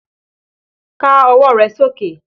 Ká ọwọ́ rẹ sókè!